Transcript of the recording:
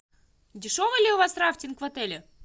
дешевый ли у вас рафтинг в отеле